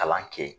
Kalan kɛ